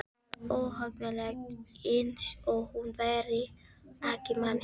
Það var óhugnanlegt, eins og hún væri ekki manneskja.